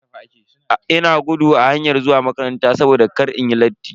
Ina gudu a hayar zuwa makaranta saboda kar inyi latti.